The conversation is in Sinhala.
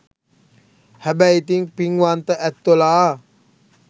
හැබැයි ඉතින් පින්වන්ත ඇත්තොලා